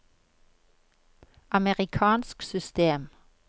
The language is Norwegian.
amerikansk system